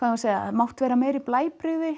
mátt vera meiri blæbrigði